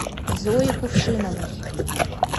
зои кувшиновой